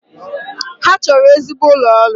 Ha chọrọ ezigbo ụlọ ọrụ